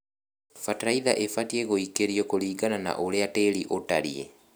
Bataraitha ĩbatie gũĩkĩrio kũringana na ũrĩa tĩri ũtarĩe.